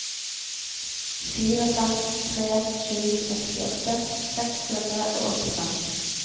fire fem tre sju sekstiåtte seks hundre og åttifem